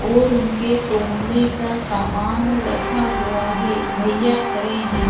और उनके तौलने का सामान रखा हुआ हैं भैय्या खड़े हैं।